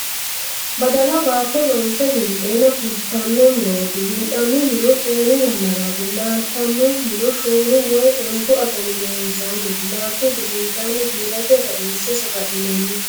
badala baatto loonse winxeenna fulitanno murooti. winxannihuno xeenu yannaraati. laaltannihuno shoolu woyi ontu agani gedensanniti. laaltuhu gedensanni giirate rainse sagalinanni.